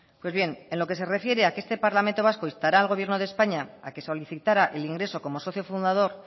pues bien en lo que refiere a que este parlamento vasco instará al gobierno de españa a que solicitara el ingreso como socio fundador